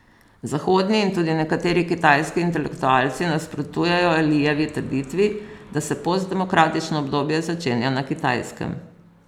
Zahodni in tudi nekateri kitajski intelektualci nasprotujejo Lijevi trditvi, da se postdemokratično obdobje začenja na Kitajskem.